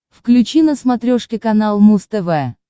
включи на смотрешке канал муз тв